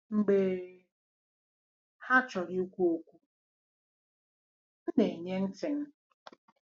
Mgbe ha chọrọ ikwu okwu, m na-enye ntị m.